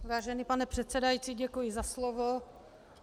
Vážený pane předsedající, děkuji za slovo.